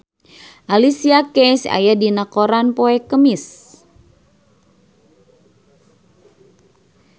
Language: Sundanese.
Alicia Keys aya dina koran poe Kemis